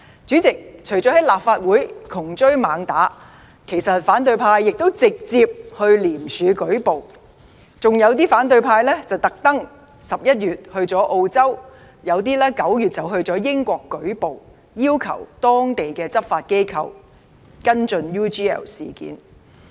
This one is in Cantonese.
主席，除了在立法會"窮追猛打"，其實反對派亦有直接向廉政公署舉報，還有一些反對派特地在11月時到澳洲、有些則在9月時到英國舉報，要求當地執法機構跟進 UGL 事件。